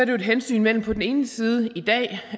jo et hensyn mellem på den ene side